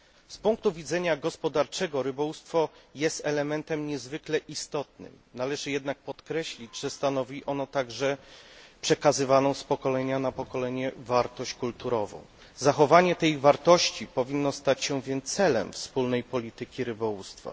Z punktu widzenia gospodarczego rybołówstwo jest elementem niezwykle istotnym, należy jednak podkreślić, że stanowi ono także przekazywaną z pokolenia na pokolenie wartość kulturową. Zachowanie tej wartości powinno stać się więc celem wspólnej polityki rybołówstwa.